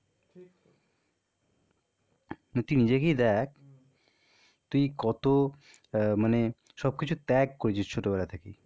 তুই নিজেকেই দেখ তুই কত আহ মানে সব কিছু ত্যাগ করেছিস ছোটবেলা থেকে,